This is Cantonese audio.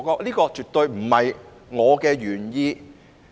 這絕非我的原意。